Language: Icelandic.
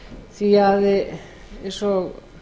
því að eins og